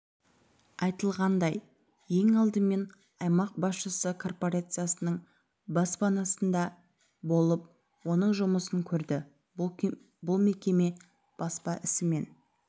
айтылғандай ең алдымен аймақ басшысы корпорациясының баспаханасында болып оның жұмысын көрді бұл мекеме баспа ісімен